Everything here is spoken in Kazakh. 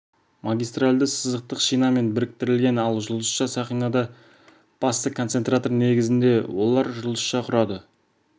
магистралды сызықтық шинамен біріктірілген ал жұлдызша сақинада басты концентратор негізінде олар жұлдызша құрады